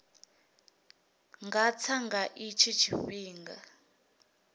nga tsa nga itshi tshifhinga